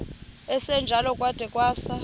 esinjalo kwada kwasa